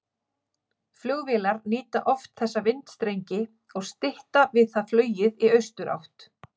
Flugvélar nýta oft þessa vindstrengi og stytta við það flugið í austurátt.